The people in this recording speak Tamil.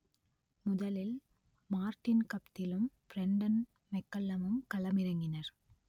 முதலில் மார்டின் கப்திலும் பிரண்டன் மெக்கல்லமும் களமிறங்கினர்